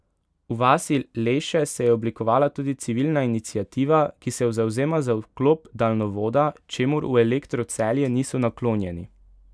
V vasi Leše se je oblikovala tudi civilna iniciativa, ki se zavzema za vkop daljnovoda, čemur v Elektru Celje niso naklonjeni.